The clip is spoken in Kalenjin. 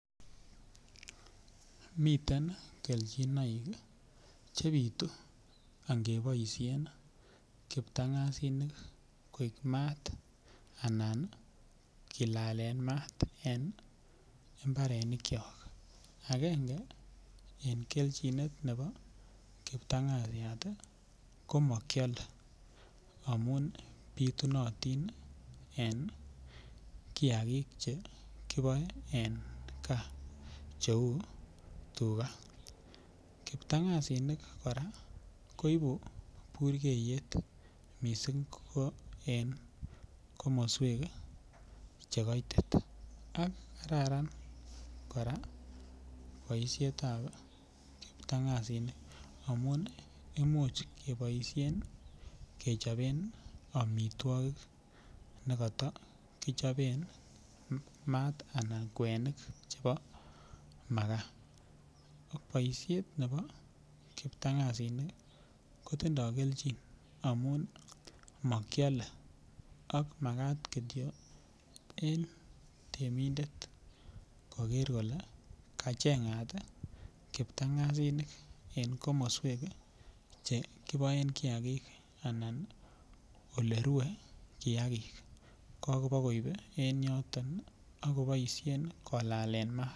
Miten kelchonoik chebit angeboisien kiptang'asinik koik maat anan kilalen maat en mbarenikyok, akenge en kelchinet ne bo kiptang'asiat komokyole amun bitunotin en kiagik chekiboe en gaa cheu tuka ,kiptang'asinik kora koibu burkeiyet missing ko en komoswek chekoitit ak kararan kora boisietab kiptang'asinik imuch keboisien kechoben amitwokik nekata kichoben maat anan kwenik chebo makaa, boisiet ne bo kptang'asinik kotinye kelchin amun mokyole ak makat kityok en temindet koker kityo kole kacheng'at kiptang'asinik en komoswek chekiboen kiagik anan olerue kiagik akopo koip en yoton akoboisien kolalen maat.